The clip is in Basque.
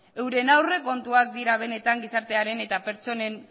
euren aurrekontuak dira benetan gizartearen eta pertsonen